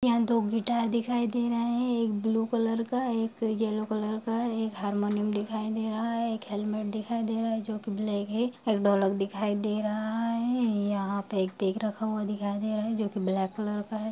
यहाँ दो गिटार दिखाई दे रहे है एक ब्लू कलर का है एक येलो कलर का है एक हारमोनियम दिखाई दे रहा है एक हेलमेट दिखाई दे रहा है जो कि ब्लैक है एक ढोलक दिखाई दे रहा है यहाँ पे एक बेग रखा हुआ दिखाई दे रहा है जो कि ब्लैक --